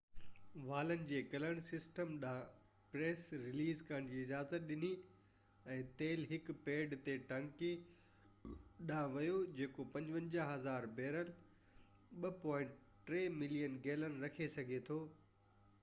والن جي کلڻ سسٽم ڏانهن پريشر رليز ڪرڻ جي اجازت ڏني ۽ تيل هڪ پيڊ تي ٽينڪي ڏانهن ويو جيڪو 55،000 بيرل 2.3 ملين گيلن رکي سگهي ٿو